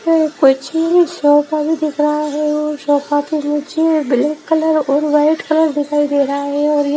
यहां कुछ दिख रहा है। ब्लैक कलर और व्हाइट कलर दिखाई दे रहा है और ये --